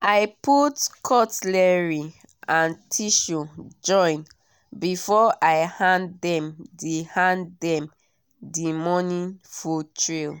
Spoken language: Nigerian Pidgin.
i put cutlery and tissue join before i hand them the hand them the morning food tray.